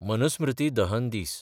मनुस्मृती दहन दीस